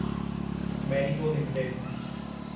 Marico limited